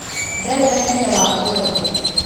Ndarĩ na hinya wa kwaria